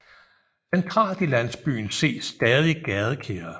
Centralt i landsbyen ses stadig gadekæret